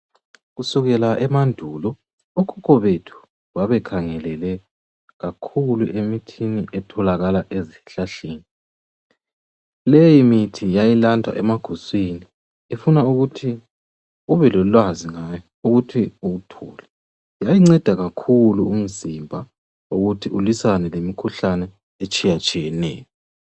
Kusukela emandulo okhokho bethu babekhangelele kakhulu emithini etholakala ezihlahleni leyi mithi yayilandwa emaguswini ifuna ukuthi ubelolwazi ngayo ukuthi uwuthole yayinceda kakhulu umzimba ukuthi ulwisane lemikhuhlane etshiya tshiyeneyo.